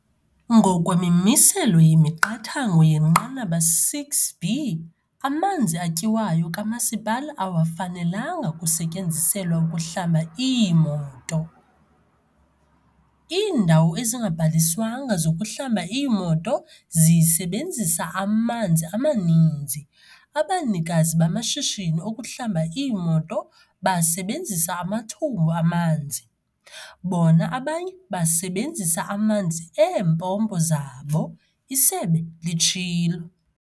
"Ngokwemimiselo yemiqathango yenqanaba 6B, amanzi atyiwayo kamasipala awafenalanga kusetyenziselwa ukuhlamba iimoto. Iindawo ezingabhaliswanga zokuhlamba iimoto zisebenzisa amanzi amaninzi. Abanikazi bamashishini okuhlamba iimoto basebenzisa amathumbu amanzi, bona abanye basebenzisa amanzi eempompo zabo," isebe litshilo.